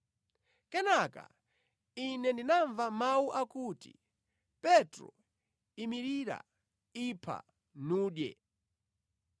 Kenaka ine ndinamva mawu akuti, ‘Petro, Imirira. Ipha, nudye.’